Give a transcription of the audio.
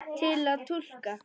Til að túlka